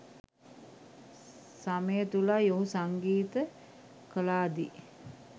සමය තුලයි ඔහු සංගීත කලා දී